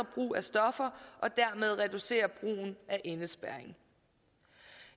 brug af stoffer og dermed reducerer brugen af indespærring